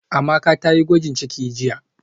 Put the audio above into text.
Amaka tayi gwajin ciki jiya